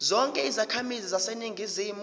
zonke izakhamizi zaseningizimu